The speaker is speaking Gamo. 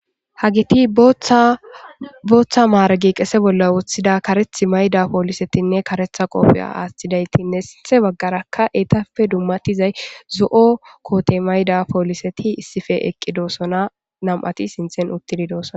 hagiti booththa maargi qese bolla woththida kareth mayda poolisetinne karetha qoopheya aaththidayti ne sinthe baggarakka eetape dummatizay zo7o koote mayda pooliseti issife eqqi doosona nam7ati sinthen uttidi doosona